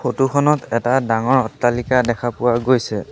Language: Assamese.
ফটো খনত এটা ডাঙৰ অট্টালিকা দেখা পোৱা গৈছে।